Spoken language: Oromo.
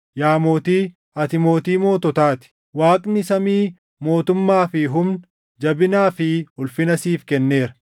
Yaa mootii, ati mootii moototaa ti. Waaqni samii mootummaa fi humna, jabinaa fi ulfina siif kenneera;